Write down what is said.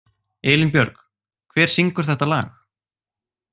Elínbjörg, hver syngur þetta lag?